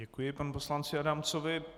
Děkuji panu poslanci Adamcovi.